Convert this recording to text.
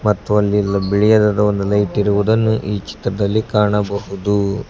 ಮತ್ತು ಅಲ್ಲಿ ಬಿಳಿಯದಾದ ಒಂದು ಲೈಟ್ ಇರುವುದನ್ನು ಈ ಚಿತ್ರದಲ್ಲಿ ಕಾಣಬಹುದು.